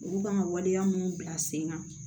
Olu kan ka waleya minnu bila sen kan